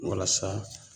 Walasa